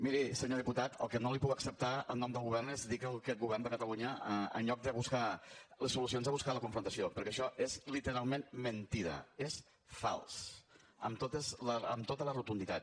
miri senyor diputat el que no li puc acceptar en nom del govern és dir que aquest govern de catalunya en lloc de buscar les solucions ha buscat la confrontació perquè això és literalment mentida és fals amb tota la rotunditat